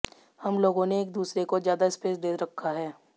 हम लोगों ने एक दूसरे को ज्यादा स्पेस दे रखा है